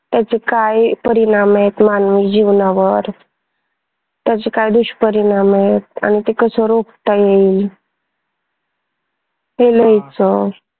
त्याचे काय परिणाम आहेत मानवी जीवनावर त्याचे काय दुष्परिणाम आहेत आणि ते हे लिहायचं.